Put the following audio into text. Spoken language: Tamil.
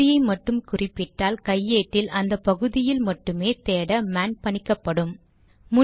ஒரு பகுதியை மட்டும் குறிப்பிட்டால் கையேட்டில் அந்த பகுதியில் மட்டுமே தேட மேன் பணிக்கப்படும்